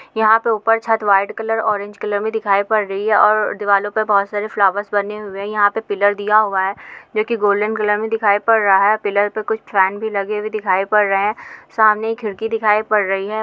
यहाँ पे ऊपर छत व्हाइट कलर ऑरेंज कलर में दिखाई पड रही हैं और दीवारों पे बहुत सारे फ्लावर्स बने हुए हैं यहाँ पे पिल्लर दिया हुआ हैं जो की गोल्डन कलर में दिखाई पड रहा हैं और पिल्लर पे कुछ फॅन लगे हुए दिखाई पड रहे हैं सामने एक खिड़की दिखाई पड रही हैं।